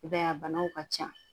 I b'a ye a banaw ka ca